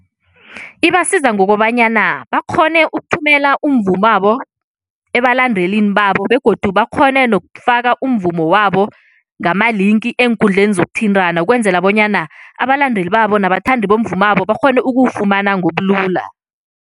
Ibasiza ngokobanyana bakghone ukuthumela umvumabo, ebalandelini babo begodu bakghone nokufaka umvumo wabo ngamalinki eenkundleni zokuthintana ukwenzela bonyana abalandeli babo nabathandi bomvumabo bakghone ukuwufumana ngobulula.